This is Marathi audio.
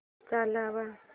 चालव